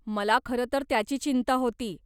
मला खरं तर त्याची चिंता होती.